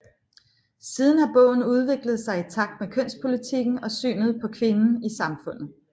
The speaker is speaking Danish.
Siden har bogen udviklet sig i takt med kønspolitikken og synet på kvinden i samfundet